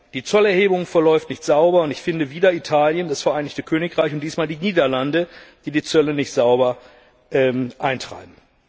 Die Zollerhebung verläuft nicht sauber, und es sind wieder Italien und das Vereinigte Königreich sowie diesmal die Niederlande, die die Zölle nicht sauber eintreiben.